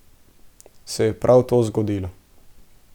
Se je pa prav to zgodilo.